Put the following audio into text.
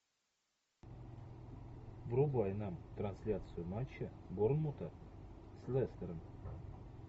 врубай нам трансляцию матча борнмута с лестером